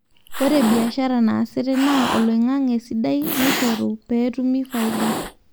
ore biashara naasitae naa oliongange sidai oishoru peetumi faida